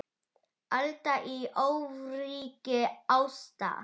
Alda í ofríki ástar.